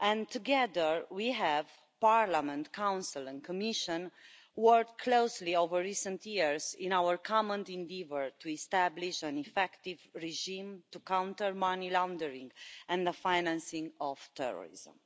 Together we the Parliament, Council and Commission have worked closely over recent years in our common endeavour to establish an effective regime to counter money laundering and the financing of terrorism.